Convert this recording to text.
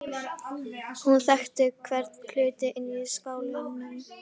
Hún þekkti hvern hlut inni í skálanum.